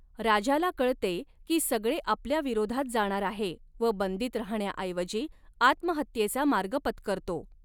राजाला कळते की सगळे आपल्या विरोधात जाणार आहे व बंदीत रहाण्याऐवजी आत्महत्येचा मार्ग पत्करतो.